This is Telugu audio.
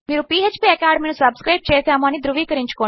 మీరు ఫ్పాకాడెమీ ను సబ్స్క్రైబ్ చేసాము అని ధృవీకరించుకోండి